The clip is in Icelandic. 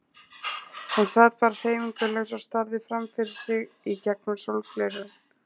Hann sat bara hreyfingarlaus og starði fram fyrir sig í gegnum sólgleraugun.